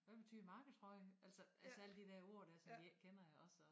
Hvad betyder marketrøje altså altså alle de dér ord dér som de ikke kender iggås og